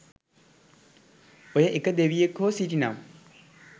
ඔය ඒක දෙවියෙක් හෝ සිටිනම්